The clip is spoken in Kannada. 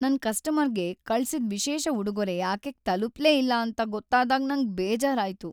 ನನ್ ಕಸ್ಟಮರ್‌ಗೆ ಕಳ್ಸಿದ್ ವಿಶೇಷ ಉಡುಗೊರೆ ಆಕೆಗೆ ತಲುಪ್ಲೇ ಇಲ್ಲ ಅಂತ ಗೊತ್ತಾದಾಗ್ ನಂಗ್ ಬೇಜಾರಾಯ್ತು.